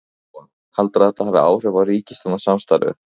Lóa: Heldurðu að þetta hafi áhrif á ríkisstjórnarsamstarfið?